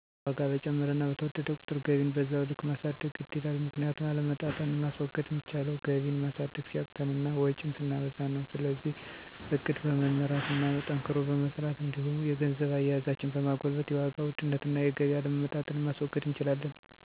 ዋጋ በጨመረና በተወደደ ቁጥር ገቢን በዛው ልክ ማሳደግ ግድ ይላል። ምክንያቱም አለመመጣጠን ማስወገድ ሚቻለው ገቢን ማሳደግ ሲያቅተን እና ወጭን ስናበዛ ነው። ስለዚህ እቅድ በመመራት እና ጠንክሮ በመስራት እንዲሁም የገንዘብ አያያዛችንን በማጎልበት የዋጋ ውድነትን እና የገቢ አለመመጣጠንን ማስወገድ እንችላለን።